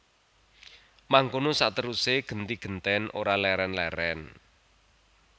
Mangkono saterusé genti gentèn ora lèrèn lèrèn